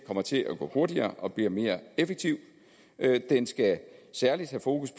kommer til at gå hurtigere og bliver mere effektiv den skal særlig have fokus